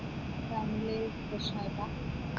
family പ്രശ്നായിട്ട